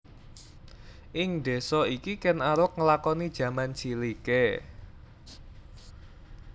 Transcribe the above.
Ing désa iki Kèn Arok nglakoni jaman ciliké